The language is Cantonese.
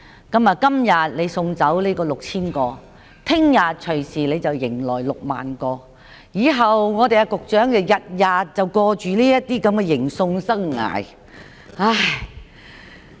今天你送走6000名聲請者，明天隨時又迎來60000名，以後局長每天也過着這種迎送生涯。